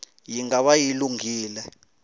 yi nga va yi lunghile